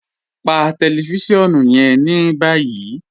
Pà tẹlifisiọnu yẹn ni báyì.